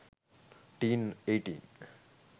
teen 18